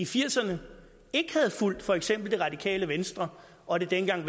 firserne ikke havde fulgt for eksempel det radikale venstre og det dengang